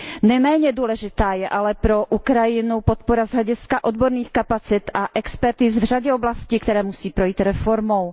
Neméně důležitá je ale pro Ukrajinu podpora z hlediska odborných kapacit a expertíz v řadě oblastí, které musí projít reformou.